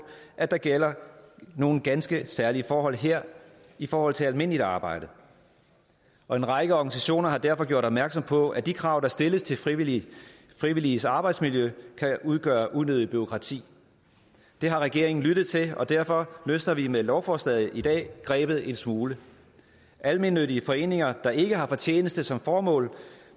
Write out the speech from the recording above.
at der gælder nogle ganske særlige forhold her i forhold til almindeligt arbejde og en række organisationer har derfor gjort opmærksom på at de krav der stilles til frivilliges frivilliges arbejdsmiljø kan udgøre et unødigt bureaukrati det har regeringen lyttet til og derfor løsner vi med lovforslaget i dag grebet en smule almennyttige foreninger der ikke har fortjeneste som formål